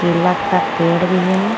केला का पेड़ भी है।